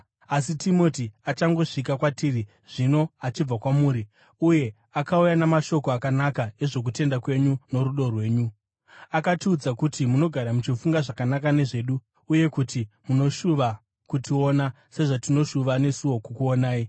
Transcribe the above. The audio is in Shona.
Asi Timoti achangosvika kwatiri zvino achibva kwamuri uye akauya namashoko akanaka ezvokutenda kwenyu norudo rwenyu. Akatiudza kuti munogara muchifunga zvakanaka nezvedu uye kuti munoshuva kutiona, sezvatinoshuva nesuwo kukuonai.